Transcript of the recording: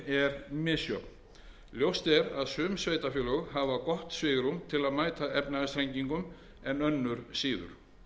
er misjöfn ljóst er að sum sveitarfélög hafa gott svigrúm til að mæta efnahagsþrengingum önnur síður